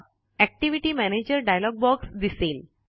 activity manager dialog box दिसेल